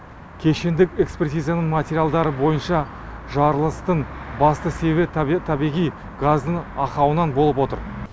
кешендік экспертизаның материалдары бойынша жарылыстың басты себебі табиғи газдың ақауынан болып отыр